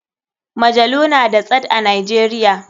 Majalu na da tsad a nijeria.